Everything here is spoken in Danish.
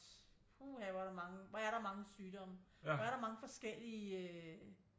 Puha hvor er der mange hvor er der mange sygdomme hvor er der mange forskellige øh